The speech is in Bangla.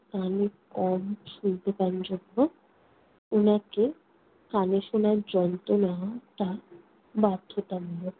কানে কম শুনতে পান উনাকে কানে শোনার যন্ত্র নেওয়াটা বাধ্যতামূলক।